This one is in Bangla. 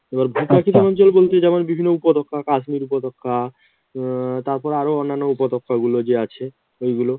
এবার ভূপ্রাকৃতিক অঞ্চল বলতে যেমন বিভিন্ন উপত্যকা কাশ্মির উপত্যকা উম তারপর আরও অন্যান্য উপত্যকাগুলো যে আছে, ওইগুলো